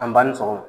An banni sɔgɔma